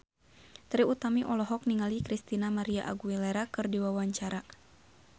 Trie Utami olohok ningali Christina María Aguilera keur diwawancara